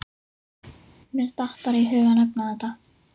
Mér datt bara í hug að nefna þetta.